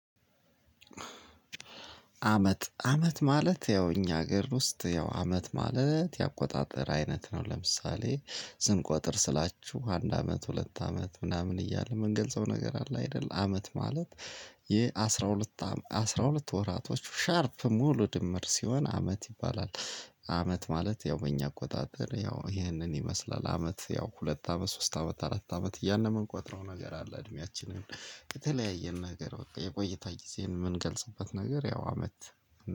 አመት አመት ማለት ያው እኛ ሀገር ውስጥ ያው አመት ማለት የአቆጣጠር አይነት ነው። ለምሳሌ ስንቆጥር ስላችሁ አንድ አመት፣ ሁለት አመት ምናምን እያልን ምንገልፀው ነገር አለ አይደለ። አመት ማለት የአስራ ሁለት አስራ ሁለት ወራቶቹ ሻርፕ ሙሉ ድምር ሲሆን አመት ይባላል። አመት ማለት ያው በእኛ አቆጣጠር ያው ይህንን ይመስላል። አመት ያው ሁለት አመት፣ ሶስት አመት፣ አራት አመት እያልን የምንቆጥረው ነገር አለ። እድሜያችንን የተለያየን ነገር በቃ የቆይታ ጊዜን የምንገልጽበት ነገር ያው አመት